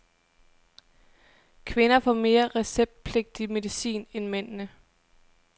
Kvinderne får mere receptpligtig medicin end mændene.